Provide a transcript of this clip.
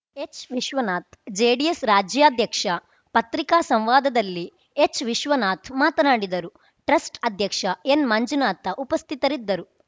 ಹೆಚ್ Vishwanath JDS ರಾಜ್ಯಾಧ್ಯಕ್ಷ ಪತ್ರಿಕಾ ಸಂವಾದದಲ್ಲಿ ಹೆಚ್ ವಿಶ್ವನಾಥ್ ಮಾತನಾಡಿದರು ಟ್ರಸ್ಟ್ ಅಧ್ಯಕ್ಷ ಎನ್ಮಂಜುನಾಥ ಉಪಸ್ಥಿತರಿದ್ದರು